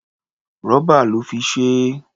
Rọ́bà lọ́ fi ṣe é.